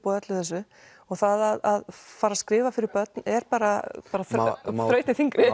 og öllu þessu og það að fara að skrifa fyrir börn er bara bara þrautin þyngri